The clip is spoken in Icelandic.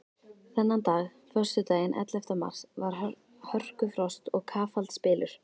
Þennan dag, föstudaginn ellefta mars, var hörkufrost og kafaldsbylur.